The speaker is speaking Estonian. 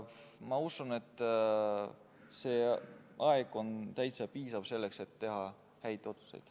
Ma usun, et see aeg on täiesti piisav selleks, et teha häid otsuseid.